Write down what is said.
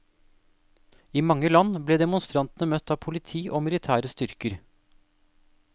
I mange land ble demonstrantene møtt av politi og militære styrker.